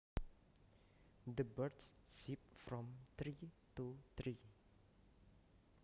The birds zip from tree to tree